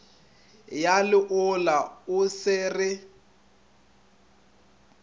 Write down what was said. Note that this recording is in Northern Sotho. ya leolo o se re